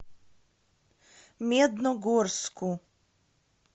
медногорску